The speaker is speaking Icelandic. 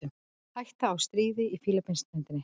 Hætta á stríði á Fílabeinsströndinni